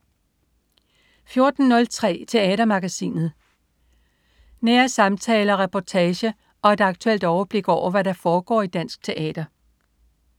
14.03 Teatermagasinet. Nære samtaler, reportager og et aktuelt overblik over, hvad der foregår i dansk teater